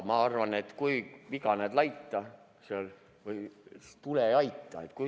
Ma arvan, et kus viga näed laita, seal tule ja aita.